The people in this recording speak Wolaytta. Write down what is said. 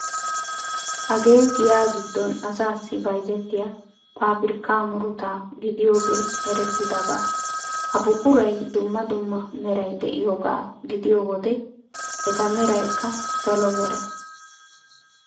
Hagee giyaa giddon asaassi bayzettiya paabirikkaa muruta gidiyogee erettidaba. Ha buquray dumma dumma meray de'iyogaa gidiyo wode eta meraykka salo mera...